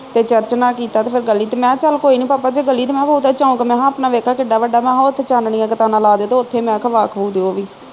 ਤੇ ਚਰਚ ਨਾ ਕੀਤਾ ਤੇ ਫਿਰ ਗਲੀ ਮੈਂ ਹਾਂ ਚੱਲ ਕੋਈ ਨੀ ਭਾਪਾ ਜੇ ਗਲੀ ਨੀ ਚੌਂਕ ਮੈਂ ਹਾ ਆਪਣਾ ਵੇਖਾ ਕਿੱਡਾ ਵੱਡਾ ਮੈਂ ਹਾ ਉਥੇ ਚਾਨਣੀਆਂ ਕਨਾਤਾ ਲਾ ਦੇ ਤੇ ਉਥੇ ਈ ਮੈਂ ਖਾ ਜੋ ਵੀ